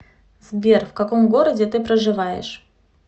сбер в каком городе ты проживаешь